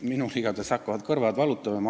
Minul igatahes hakkavad kõrvad valutama.